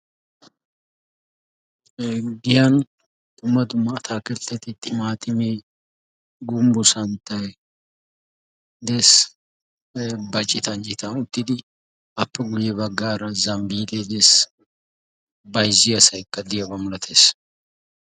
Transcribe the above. oggiyan tumadumaa taakettetti ximaatimi gumbbu santtay dees ba citan citan uttidi appe gulye baggaara zambbile de'es bayzzi asaykka diyaabaa mulatees